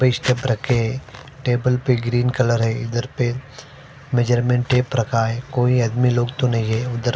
रखे है टेबल पर ग्रीन कलर है इधर पर मेज़रमेंट टेप रखा है कोई आदमी लोग तो नहीं है उधर--